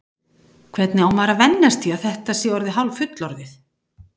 Hvernig á maður að venjast því að þetta sé orðið hálffullorðið?